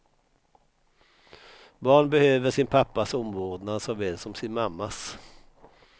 Barn behöver sin pappas omvårdnad såväl som sin mammas.